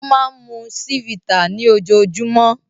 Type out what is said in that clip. Ó máa ń mu Chivita ní ojoojúmọ́.